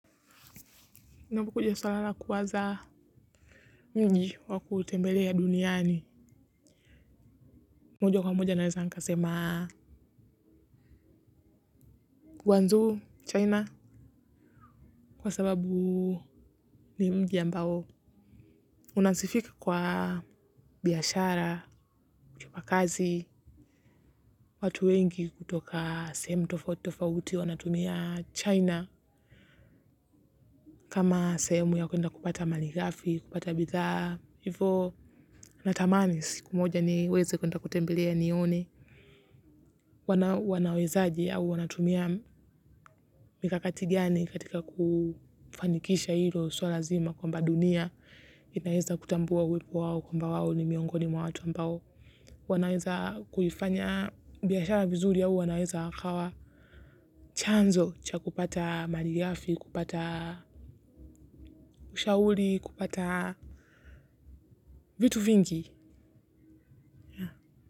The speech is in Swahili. Inapokuja swala la kuwaza mji wa kutembelea duniani. Moja kwa moja naeza nikasema gwanzuu China kwa sababu ni mji ambao. Unasifika kwa biashara, kipakazi, watu wengi kutoka seemu tofautitofauti wanatumia China. Kama seemu ya kuenda kupata maligafi, kupata bidhaa. Hivo natamani, siku moja niweze kutembelea nione, wanawezaji au wanatumia mikakati gani katika kufanikisha ilo suala zima kwamba dunia, inaweza kutambua uwepo wawo kwamba wao ni miongoni mwa watu ambao. Wanaweza kuifanya biashara vizuri au wanaweza wakawa chanzo cha kupata malighafi, kupata ushauli, kupata vitu vingi.